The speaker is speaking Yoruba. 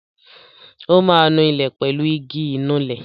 Ó ma nu ilẹ̀ pẹ̀lú igi Ìnulẹ̀